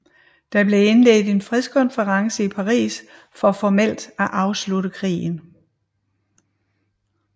Der blev indledt en fredskonference i Paris for formelt at afslutte krigen